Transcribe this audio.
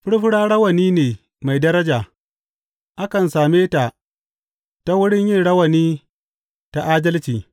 Furfura rawani ne mai daraja; akan same ta ta wurin yin rayuwa ta adalci.